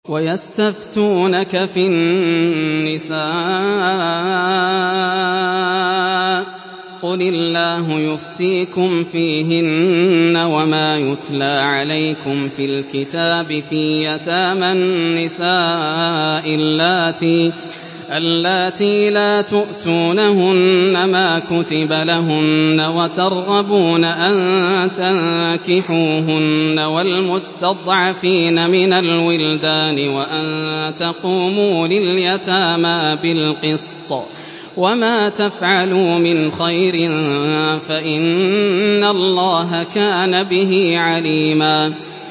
وَيَسْتَفْتُونَكَ فِي النِّسَاءِ ۖ قُلِ اللَّهُ يُفْتِيكُمْ فِيهِنَّ وَمَا يُتْلَىٰ عَلَيْكُمْ فِي الْكِتَابِ فِي يَتَامَى النِّسَاءِ اللَّاتِي لَا تُؤْتُونَهُنَّ مَا كُتِبَ لَهُنَّ وَتَرْغَبُونَ أَن تَنكِحُوهُنَّ وَالْمُسْتَضْعَفِينَ مِنَ الْوِلْدَانِ وَأَن تَقُومُوا لِلْيَتَامَىٰ بِالْقِسْطِ ۚ وَمَا تَفْعَلُوا مِنْ خَيْرٍ فَإِنَّ اللَّهَ كَانَ بِهِ عَلِيمًا